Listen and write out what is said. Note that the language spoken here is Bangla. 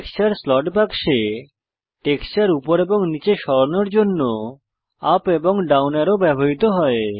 টেক্সচার স্লট বাক্সে টেক্সচার উপর এবং নীচে সরানোর জন্য ইউপি এবং ডাউন অ্যারো ব্যবহৃত হয়